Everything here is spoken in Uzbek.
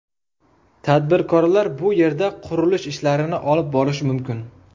Tadbirkorlar bu yerda qurilish ishlarini olib borishi mumkin.